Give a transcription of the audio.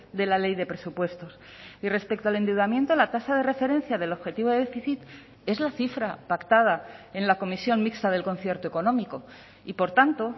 de la ley de presupuestos y respecto al endeudamiento la tasa de referencia del objetivo de déficit es la cifra pactada en la comisión mixta del concierto económico y por tanto